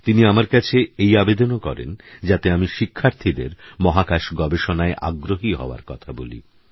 তিনিআমারকাছেএইআবেদনওকরেনযাতেআমিশিক্ষার্থীদেরমহাকাশগবেষণায়আগ্রহীহওয়ারকথাবলি